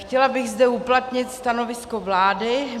Chtěla bych zde uplatnit stanovisko vlády.